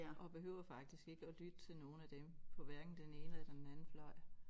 Og behøver faktisk ikke at lytte til nogle af dem på hverken den ene eller den anden fløj